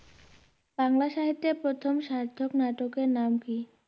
বাংলা সাহিত্যে প্রথম সার্থক নাটকের নাম কী?